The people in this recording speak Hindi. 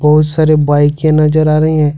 बहुत सारे बाईकें नजर आ रही हैं।